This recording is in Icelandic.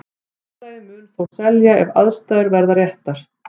Félagið mun þó selja ef aðstæður verða réttar.